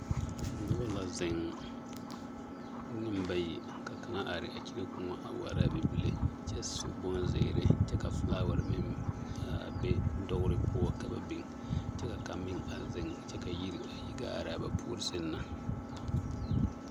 Noba la zeŋ, nembayi, ka kaŋa are a kyire kõɔ waara a bibile kyɛ su bonzeere ka filaawaare meŋ a be dogere poɔ ka ba biŋ kyɛ ka kaŋ meŋ a zeŋ kyɛ ka yiri a yi gaa are a ba puori seŋ na.